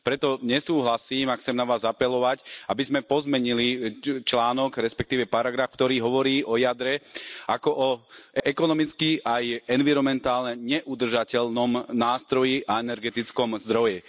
Preto nesúhlasím a chcem na vás apelovať, aby sme pozmenili článok, respektíve paragraf, ktorý hovorí o jadre ako o ekonomicky a environmentálne neudržateľnom nástroji a energetickom zdroji.